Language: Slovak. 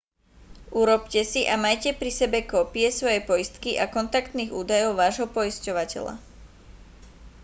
urobte si a majte pri sebe kópie svojej poistky a kontaktných údajov vášho poisťovateľa